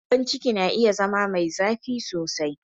Gyambon ciki na iya zama mai zafi sosai.